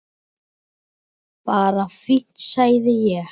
Bara fínt sagði ég.